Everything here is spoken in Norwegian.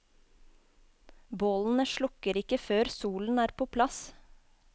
Bålene slukker ikke før solen er på plass.